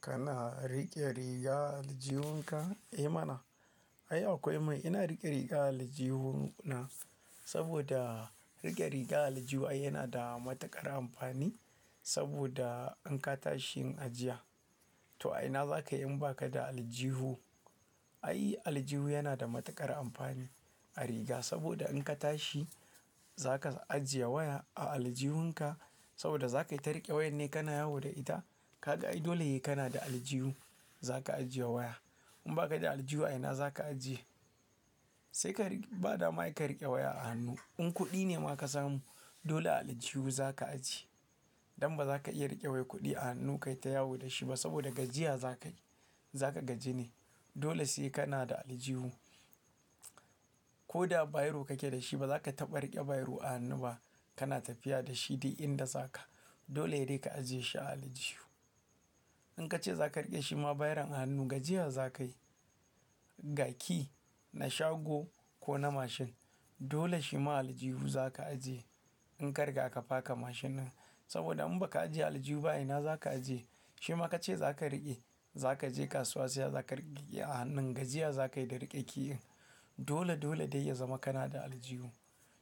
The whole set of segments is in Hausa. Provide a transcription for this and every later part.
Kana riƙe riga aljihun ka? Eh mana. Ai akwai mai ina riƙe rigan aljihu na saboda riƙe rigan aljihu yana da matuƙar amfani saboda in ka tashi yin ajiya. To a ina za ka yi in ba ka da aljihu? Ai aljihu yana da matuƙar amfani a riga saboda in ka tashi za ka ajiye waya a aljihun ka saboda za ka yi ta riƙe wayar ne ka na yawo da ita. Kaga ai dole sai kana da aljihu za ka ajiye waya. In ba ka da aljihu a ina za ka ajiye? Sai ka riƙe, ba da ma ka riƙe waya a hannu. In kuɗi ne ma ka samu dole a aljihu za ka ajiye don ba za ka iya riƙe wai kuɗi a hannu ka yi ta yawo da shi ba saboda gajiya za ka yi, za ka gaji ne. Dole sai kana da aljihu. Ko da bairo kake da shi ba za ka taɓa riƙe bairo a hannu ba kana tafiya da shi duk inda zaka. Dole saidai ka ajiye shi a aljihu. In ka ce za ka riƙe shi ma bairon a hannu gajiya za ka yi ga ki na shago ko na mashin. Dole shi ma aljihu za ka ajiye in kariga ka faka mashin din saboda in ba ka ajiye a aljihu ba a ina za ka ajiye? Shi ma ka ce za ka riƙe. Za ka je kasuwa sai ka riƙe a hannun gajiya za ka yi da riƙe ki in. Dole dole dai ya zama kana da aljihu.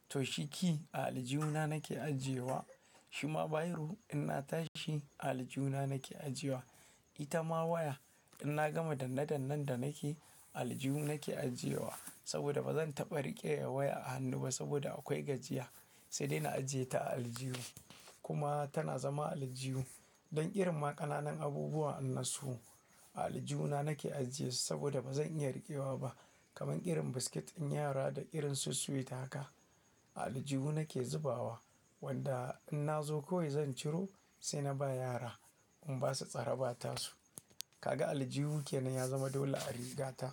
To shi key a aljihu na nake ajiyewa. Shi ma bairo in na tashi a aljihu na nake ajiyewa. Ita ma waya in na gama danne dannen da nake a aljihu nake ajiyewa saboda ba zan taɓa riƙe waya a hannu ba saboda akwai gajiya sai dai na ajiye ta a aljihu. Kuma tana zama a aljihu. Don irin ma ƙananan abubuwa nan su a aljihu na nake ajiye su saboda ba zan iya riƙewa ba. Kaman irin biskit in yara da irin su sweet haka a aljihu nake zubawa wanda in na zo kawai zan ciro sai na ba yara in ba su tsara ba tasu. Kaga aljihu kenan ya zama dole a rigata.